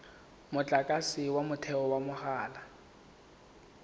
motlakase wa motheo wa mahala